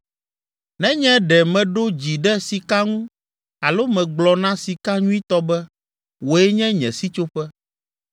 “Nenye ɖe meɖo dzi ɖe sika ŋu alo megblɔ na sika nyuitɔ be, ‘Wòe nye nye sitsoƒe,’